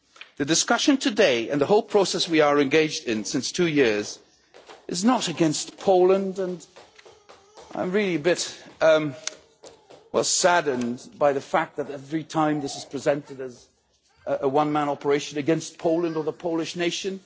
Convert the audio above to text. The discussion today and the whole process that we have been engaged in for two years is not against Poland, and I'm really quite saddened by the fact that, every time, this is presented as a one-man operation against Poland or the Polish nation.